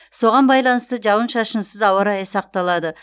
соған байланысты жауын шашынсыз ауа райы сақталады